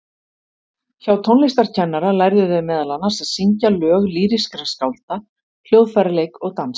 Hjá tónlistarkennara lærðu þau meðal annars að syngja lög lýrískra skálda, hljóðfæraleik og dans.